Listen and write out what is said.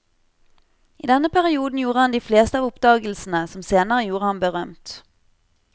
I denne perioden gjorde han de fleste av oppdagelsene som senere gjorde ham berømt.